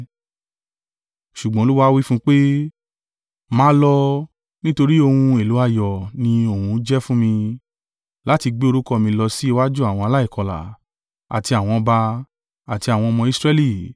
Ṣùgbọ́n Olúwa wí fún un pé, “Máa lọ; nítorí ohun èlò ààyò ni òun jẹ́ fún mi, láti gbé orúkọ mi lọ sí iwájú àwọn aláìkọlà, àti àwọn ọba, àti àwọn ọmọ Israẹli.